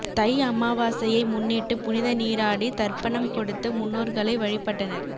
தை அமாவாசையை முன்னிட்டு புனித நீராடி தர்ப்பணம் கொடுத்து முன்னோர்களை வழிபட்டனர்